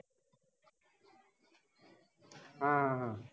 हा आह